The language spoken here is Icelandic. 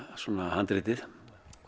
handritið